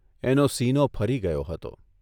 એનો સીનો ફરી ગયો હતો.